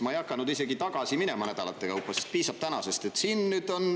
Ma ei hakanud isegi nädalate kaupa tagasi minema, sest piisab tänasest.